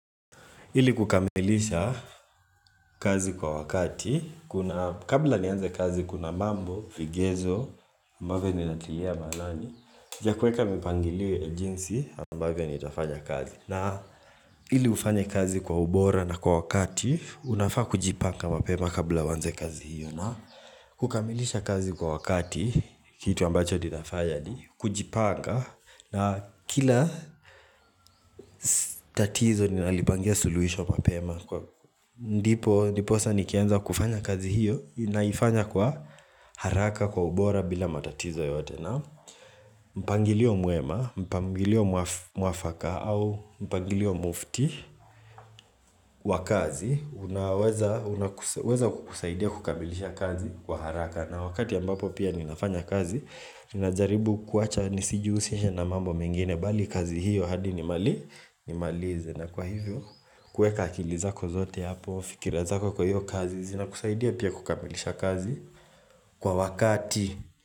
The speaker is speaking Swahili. Ili kukamilisha kazi kwa wakati, kuna kabla nianze kazi kuna mambo, vigezo, ambavyo ninatilia maanani vya kuweka mipangilio ja jinsi ambavyo nitafanya kazi. Na ili ufanye kazi kwa ubora na kwa wakati, unafaa kujipanga mapema kabla hujaanza kazi hiyo na kukamilisha kazi kwa wakati, kitu ambacho ninafanya ni kujipanga na kila tatizo ninalipangia suluhisho mapema Ndiposa nikianza kufanya kazi hiyo, naifanya kwa haraka kwa ubora bila matatizo yoyote na mpangilio mwema, mpangilio mwafaka au mpangilio mufti wa kazi Unaweza kukusaidia kukamilisha kazi wa haraka. Na wakati ambapo pia ninafanya kazi Ninajaribu kuwacha nisijihu sishe na mambo mengine bali kazi hiyo hadi ni mali ni malize na kwa hivyo kuweka akili zako zote hapo fikira zako kwa hiyo kazi inakusaidia pia kukamilisha kazi kwa wakati.